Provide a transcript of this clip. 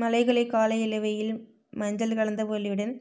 மலைகளை காலை இளவெயில் மஞ்சள்கலந்த ஒளியுடன்